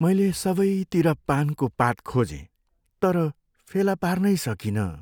मैले सबैतिर पानको पात खोजेँ तर फेला पार्नै सकिनँ।